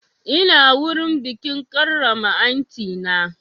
Ina wurin bikin karrama aunty na